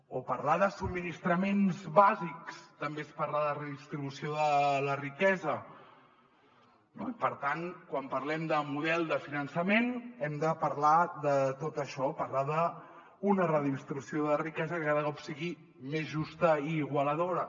o parlar de subministraments bàsics també és parlar de redistribució de la riquesa no i per tant quan parlem de model de finançament hem de parlar de tot això parlar d’una redistribució de la riquesa que cada cop sigui més justa i iguala·dora